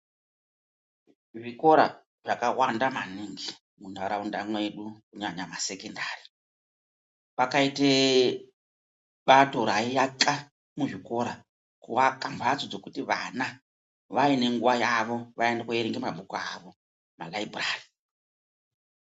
Zvikora zvaka wanda maningi mu ndaraunda mwedu kunyanya ma sekendari pakaite bato rayi aka muzvikora ku aka mbatso dzekuti vana vaine nguva yavo vaende ko verenga mabhuku avo mu mu malaibhurari.